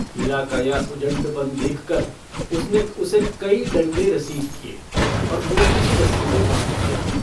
हीरा का यह उजड्डपन देखकर उसने उसे कई डंडे रसीद किए और मोटी-सी रस्सी से बाँध दिया।